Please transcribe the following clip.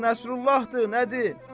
Şeyx Nəsrullahdır, nədir?